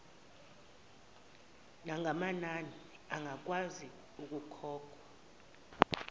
nangokwamanani angakwazi ukukhokhwa